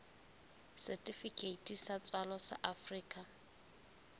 setifikeiti sa tswalo sa afrika